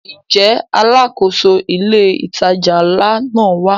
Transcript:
Ǹjẹ́ Alákóso ilé ìtajà ńlá náà wá?